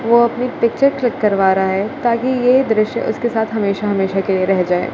वो अपनी picture click करवा रहा हैं ताकि ये दृश्य उसके साथ हमेशा हमेशा के लिए रह जाए।